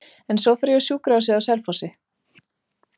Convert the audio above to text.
En svo fór ég á sjúkrahúsið á Selfossi.